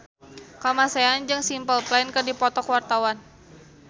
Kamasean jeung Simple Plan keur dipoto ku wartawan